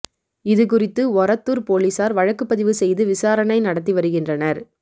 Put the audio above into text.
இது குறித்து ஒரத்தூர் போலீஸார் வழக்கு பதிவு செய்து விசாரணை நடத்தி வருகின்றனர்